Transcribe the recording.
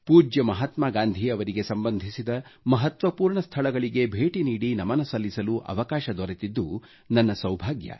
ಪೂಜ್ಯ ಮಹಾತ್ಮಾ ಗಾಂಧೀ ಅವರಿಗೆ ಸಂಬಂಧಿಸಿದ ಮಹತ್ವಪೂರ್ಣ ಸ್ಥಳಗಳಿಗೆ ಭೇಟಿ ನೀಡಿ ನಮನ ಸಲ್ಲಿಸಲು ಅವಕಾಶ ದೊರೆತಿದ್ದು ನನ್ನ ಸೌಭಾಗ್ಯ